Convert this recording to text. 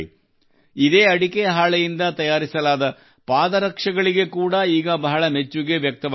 ಇದೇ ಅಡಿಕೆ ಹಾಳೆಯಿಂದ ತಯಾರಿಸಲಾದ ಪಾದರಕ್ಷೆಗಳಿಗೆ ಕೂಡಾ ಈಗ ಬಹಳ ಮೆಚ್ಚುಗೆ ವ್ಯಕ್ತವಾಗುತ್ತಿದೆ